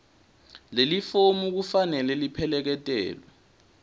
lelifomu kufanele lipheleketelwe